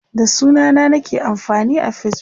da sunana nake amfani a Facebook